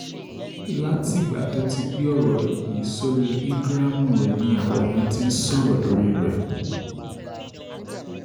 látìgbà tó ti gbé ọ̀rọ̀ yìí sórí íńgíráàmù rẹ̀ ni àwọn èèyàn ti ń sọ̀rọ̀ lórí rẹ̀